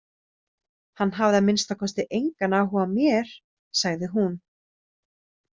Hann hafði að minnsta kosti engan áhuga á mér, sagði hún.